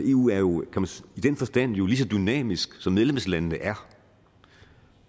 eu er jo i den forstand lige så dynamisk som medlemslandene er